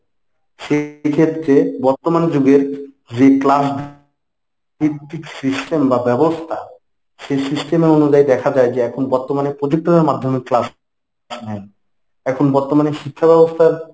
সেই ক্ষেত্রে বর্তমান যুগের যে class ভিত্তিক system বা ব্যবস্থা সেই system এ অনুযায়ী দেখা যায় যে এখন বর্তমানে projector এর মাধ্যমে class এখন বর্তমানে শিক্ষাব্যবস্থার